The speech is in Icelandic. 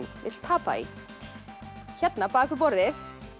vill tapa í bak við borðið